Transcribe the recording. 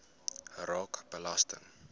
raak belasting